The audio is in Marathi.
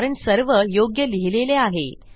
कारण सर्व योग्य लिहिलेले आहे